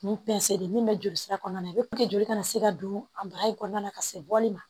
Nin pɛnsɛn de min be joli sira kɔɔna na puruke joli kana se ka don a baraji kɔnɔna na ka se bɔli ma